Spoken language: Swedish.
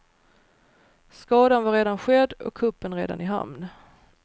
Skadan var redan skedd och kuppen redan i hamn.